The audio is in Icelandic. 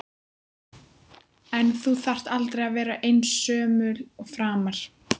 En þú þarft aldrei að vera einsömul framar.